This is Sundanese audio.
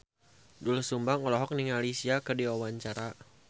Doel Sumbang olohok ningali Sia keur diwawancara